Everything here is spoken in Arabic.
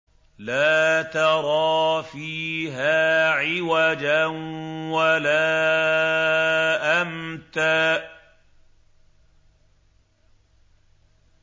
لَّا تَرَىٰ فِيهَا عِوَجًا وَلَا أَمْتًا